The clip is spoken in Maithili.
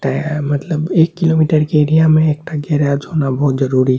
ते मतलब एक किलोमीटर के एरिया में एकटा गेराज होना बहुत जरूरी --